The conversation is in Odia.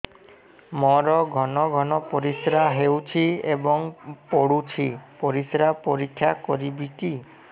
ମୋର ଘନ ଘନ ପରିସ୍ରା ହେଉଛି ଏବଂ ପଡ଼ୁଛି ପରିସ୍ରା ପରୀକ୍ଷା କରିବିକି